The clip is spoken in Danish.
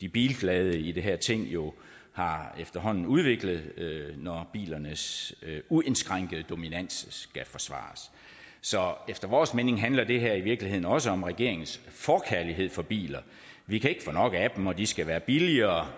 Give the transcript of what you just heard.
de bilglade i det her ting jo efterhånden har udviklet når bilernes uindskrænkede dominans skal forsvares så efter vores mening handler det her i virkeligheden også om regeringens forkærlighed for biler vi kan ikke få nok af dem og de skal være billigere